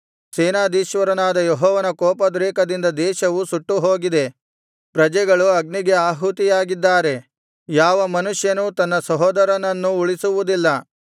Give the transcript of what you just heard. ಸೇನಾಧೀಶ್ವರನಾದ ಯೆಹೋವನ ಕೋಪೋದ್ರೇಕದಿಂದ ದೇಶವು ಸುಟ್ಟು ಹೋಗಿದೆ ಪ್ರಜೆಗಳು ಅಗ್ನಿಗೆ ಆಹುತಿಯಾಗಿದ್ದಾರೆ ಯಾವ ಮನುಷ್ಯನೂ ತನ್ನ ಸಹೋದರನನ್ನು ಉಳಿಸುವುದಿಲ್ಲ